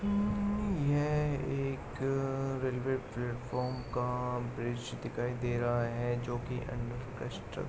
ये एक railway platform का ब्रिज दिखाई दे रहा है जो कि अंडरकंस्ट्र --